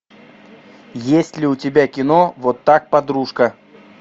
есть ли у тебя кино вот так подружка